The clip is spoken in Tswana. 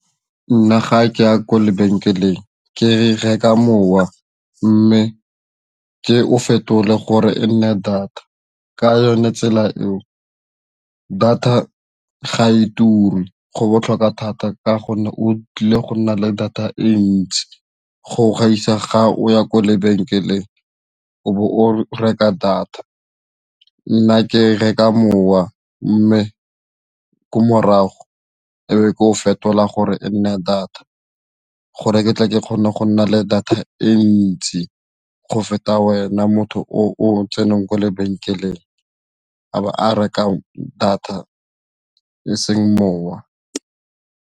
Nna ga ke ya kwa lebenkeleng ke reka mowa mme ke o fetole gore e nne data ka yone tsela eo data ga e turi, go botlhokwa thata ka gonne o tlile go nna le data e ntsi go gaisa ga o ya kwa lebenkeleng o bo o reka data nna ke reka mowa mme ko morago e be ke o fetola gore e nne data gore ke tle ke kgone go nna le data e ntsi go feta wena motho o tseneng kwa lebenkeleng a bo a reka data e seng mowa.